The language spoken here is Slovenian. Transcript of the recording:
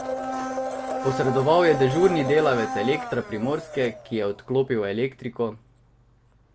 Posredoval je dežurni delavec Elektra Primorske, ki je odklopil elektriko.